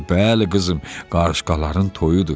Bəli, qızım, qarışqaların toyudur.